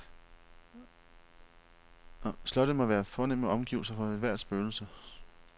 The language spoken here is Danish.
Slottet må være fornemme omgivelser for ethvert spøgelse.